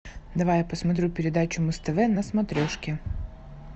давай я посмотрю передачу муз тв на смотрешке